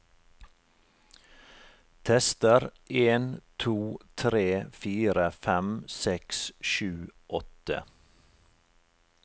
Tester en to tre fire fem seks sju åtte